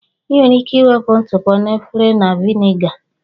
Ị nwere ike wepụ ntụpọ na efere na Viniga